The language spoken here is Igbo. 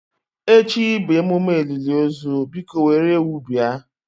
Echi bụ emume olili ozu biko were ewu bia.